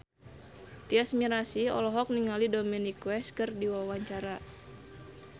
Tyas Mirasih olohok ningali Dominic West keur diwawancara